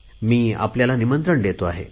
मी आपल्याला निमंत्रण देतो आहे